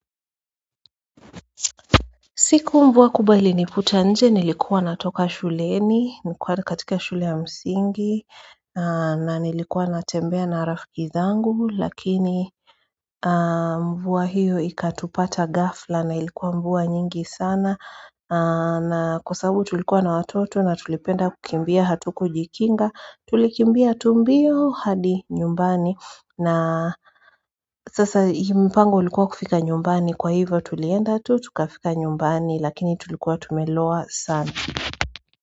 Siku mvua kubwa ilinikuta nje nilikuwa natoka shuleni nilikuwa katika shule ya msingi na nilikuwa natembea na rafiki zangu lakini mvua hiyo ikatupata ghafla na ilikuwa mvua nyingi sana na kwa sababu tulikuwa na watoto na tulipenda kukimbia hatukujikinga tulikimbia tu mbio hadi nyumbani na sasa mpango ulikuwa kufika nyumbani kwa hivyo tulienda tu tukafika nyumbani lakini tulikuwa tumeloa sana.